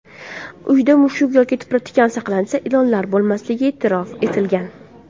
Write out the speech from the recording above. Uyda mushuk yoki tipratikan saqlansa, ilonlar bo‘lmasligi e’tirof etilgan.